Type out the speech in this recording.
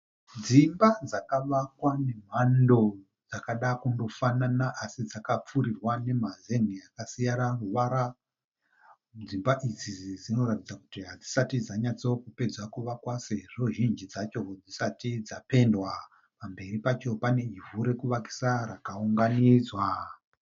Dzimba dzakavakwa nemhando dzakada kundofanana asi dzakapfurirwa nemazenge akasiyana ruvara. Dzimba idzidzi dzinoratidza kuti hadzisati dzanyatsokupedza kuvakwa sezvo dzisati dzapendwa. Pamberi pacho pane ivhu rekuvakisa rakaunganidzwa.